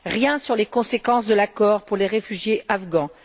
Rien sur les conséquences de l'accord pour les réfugiés afghans.